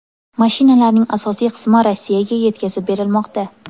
Mashinalarning asosiy qismi Rossiyaga yetkazib berilmoqda.